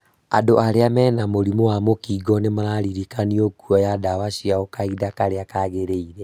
Andũ arĩa mena mũrimũ wa mũkingo nĩmararirikanio kuoya dawa ciao kahinda karĩa kagĩrĩire